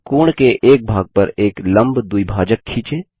अब कोण के एक भाग पर एक लम्ब द्विभाजक खींचें